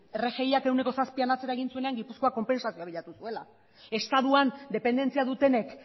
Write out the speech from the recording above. rgiak ehuneko zazpian atzera egin zuenean gipuzkoak konpentsazioa bilatu zuela estatuan dependentzia dutenek